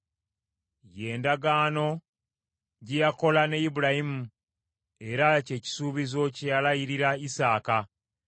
ye ndagaano gye yakola ne Ibulayimu, era kye kisuubizo kye yalayirira Isaaka.